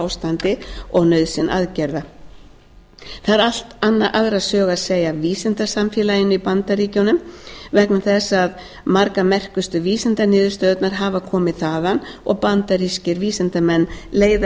ástandi og nauðsyn aðgerða það er allt aðra sögu að segja af vísindasamfélaginu í bandaríkjunum vegna þess að margar merkustu vísindaniðurstöðurnar hafa komið þaðan og bandarískir vísindamenn leiða